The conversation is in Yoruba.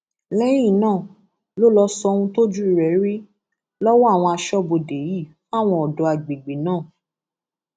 lẹyìn náà ló lọọ sọ ohun tójú rẹ rí lọwọ àwọn aṣọbodè yìí fáwọn ọdọ àgbègbè náà